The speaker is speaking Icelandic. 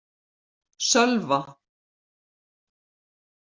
Sölva